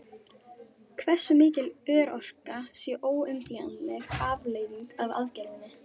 Hversu mikil örorka sé óumflýjanleg afleiðing af aðgerðinni?